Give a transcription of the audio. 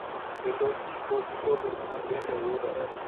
Kendo tipo gi jolupni bende yudore.